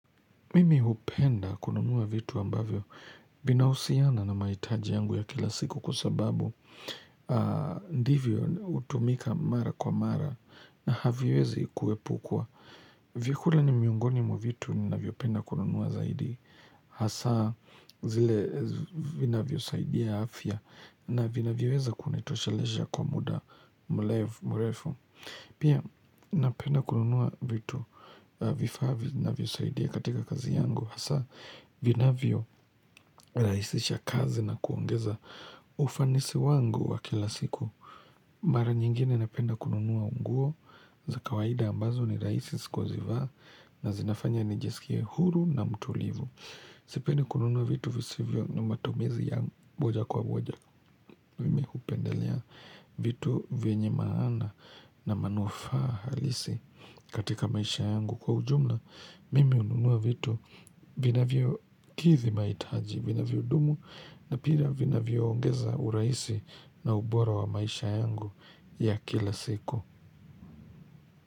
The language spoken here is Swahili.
Mimi hupenda kununua vitu ambavyo vinahusiana na mahitaji yangu ya kila siku kwa sababu ndivyo hutumika mara kwa mara na haviwezi kuepukwa. Vyakula ni miongoni mwa vitu ninavyopenda kununua zaidi hasa zile vinavyosaidia afya na vinavyoweza kunitoshelesha kwa muda mrefu. Pia napenda kununua vitu vifaa vinavyosaidia katika kazi yangu Hasa vinavyorahisisha kazi na kuongeza ufanisi wangu wa kila siku Mara nyingine napenda kununua nguo za kawaida ambazo ni rahisi kuzivaa na zinafanya nijisikie huru na mtulivu Sipendi kununua vitu visivyo na matumizi ya moja kwa moja Mimi hupendelea vitu venye maana na manufaa halisi katika maisha yangu. Kwa ujumla, mimi hununua vitu vinavyokidhi mahitaji, vinavyodumu na pia vinavyoongeza urahisi na ubora wa maisha yangu ya kila siku.